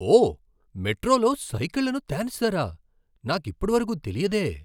ఓ! మెట్రోలో సైకిళ్లను తేనిస్తారా. నాకిప్పటివరకు తెలియదే.